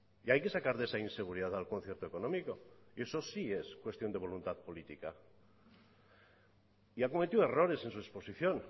y hay que sacar de esa inseguridad al concierto económico y eso sí es cuestión de voluntad política y ha cometido errores en su exposición